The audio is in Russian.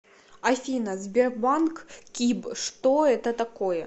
афина сбербанк киб что это такое